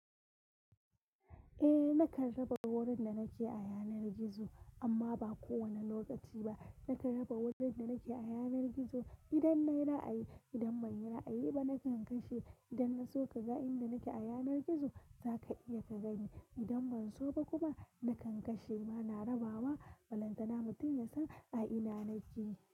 Eh nakan raba wurin da nake a yanar gizo amma ba kowane lokaci ba. Nakan raba wurin da nake a yanar gizo idan nayi ra'ayi idan ban yi ra'ayi ba nakan kashe. Idan na so ka ga inda nake a yanar gizo zaka iya ka gani. Idan ban so ba kuma nakan kashe. Ba na rabawa, balantana mutum ya san a ina nake.